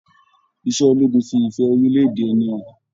Iṣẹ ológun fí ìfẹ orilẹ-èdè ẹni hàn.